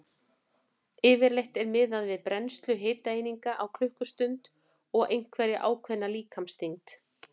Yfirleitt er miðað við brennslu hitaeininga á klukkustund og einhverja ákveðna líkamsþyngd.